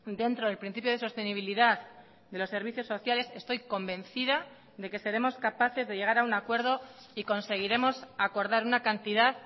dentro del principio de sostenibilidad de los servicios sociales estoy convencida de que seremos capaces de llegar a un acuerdo y conseguiremos acordar una cantidad